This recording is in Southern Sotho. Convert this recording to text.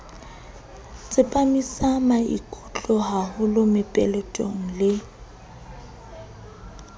tsepamisa maikutlo haholo mopeletong le